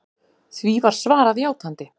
Því var svarað játandi.